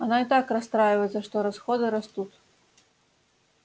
она и так расстраивается что расходы растут